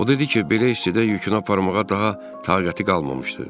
O dedi ki, belə hissədə yükünü aparmağa daha taqəti qalmamışdı.